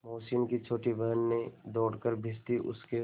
मोहसिन की छोटी बहन ने दौड़कर भिश्ती उसके